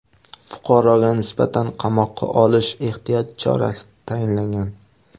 Fuqaroga nisbatan qamoqqa olish ehtiyot chorasi tayinlangan.